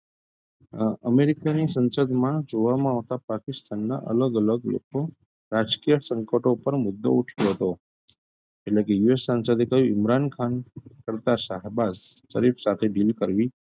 અ અમેરિકાની સંસદમાં જોવાંમાં આવતાં પાકિસ્તાનના અલગ -અલગ લોકો રાજકીય સંકટો પર મુદ્દો ઉઠાવ્યો હતો એટલે કે US સંસદએ કહ્યું ઇમરાન ખાન કરતાં શાહબાજ સરિફ સાથે deal કરવી,